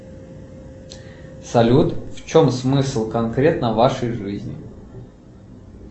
салют в чем смысл конкретно вашей жизни